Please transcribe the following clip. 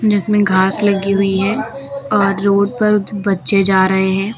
जिसमें घास लगी हुई है और रोड पर बच्चे जा रहे हैं।